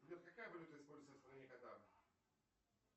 сбер какая валюта используется в стране катар